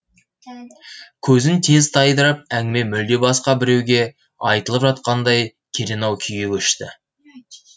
көзін тез тайдырып әңгіме мүлде басқа біреуге айтылып жатқандай керенау күйге көшті